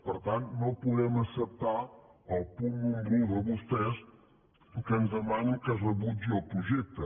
per tant no podem acceptar el punt número un de vostès que ens demanen que es rebutgi el projecte